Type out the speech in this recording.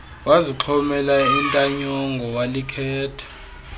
wazixhomela intanyongo walikhetha